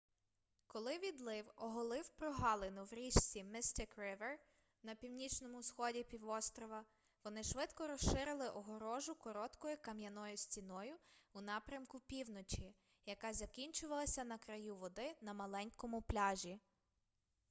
коли відлив оголив прогалину в річці mystic river на північному сході півострова вони швидко розширили огорожу короткою кам'яною стіною у напрямку півночі яка закінчувалася на краю води на маленькому пляжі